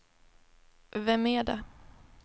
vem är det